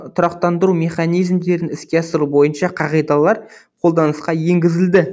тұрақтандыру механизмдерін іске асыру бойынша қағидалар қолданысқа енгізілді